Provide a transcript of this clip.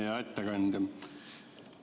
Hea ettekandja!